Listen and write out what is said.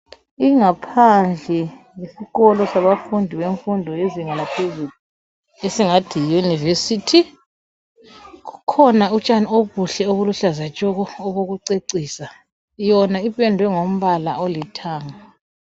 Ingaphandle yesikolo sabafundi yemfundo lezinga laphezulu esingathi yiyunivesithi kukhona utshani obuhle obuluhlaza tshoko obokucecisa yona ipendwe ngombala olithanga.